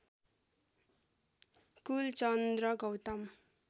Kulchandra Gautam